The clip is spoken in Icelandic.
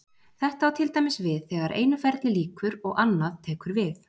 þetta á til dæmis við þegar einu ferli lýkur og annað tekur við